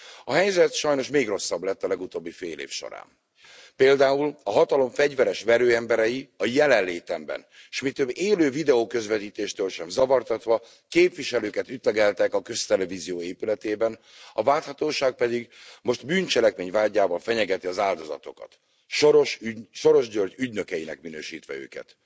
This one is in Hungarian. A helyzet sajnos még rosszabb lett a legutóbbi fél év során. Például a hatalom fegyveres verőemberei a jelenlétemben, s mi több, élő videoközvetítéstől sem zavartatva képviselőket ütlegeltek a köztelevízió épületében, a vádhatóság pedig most bűncselekmény vádjával fenyegeti az áldozatokat Soros György ügynökeinek minősítve őket.